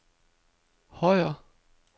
Højer